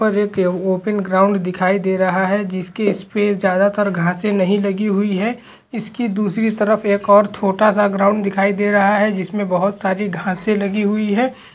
पर एक ये ओपिन ग्राउंड दिखाई दे रहा है जिसकी स्पेस ज्यादातर घासे नहीं लगी हुई है इसकी दूसरी तरफ एक और छोटा सा ग्राउंड दिखाई दे रहा है जिसमे बहोत सारी घासें लगी हुई है।